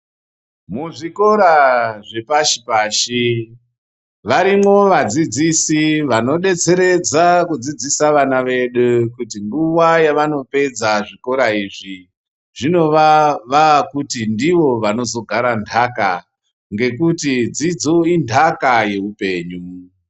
Mu zvikora zve pashi pashi varimwo vadzidzisi vano detseredza ku dzidzisa vana vedu kuti nguva yavano pedza zvikora izvi zvinova vakuti ndivo vanozo gara ndaka ngekuti dzidzo indaka ye upenyu.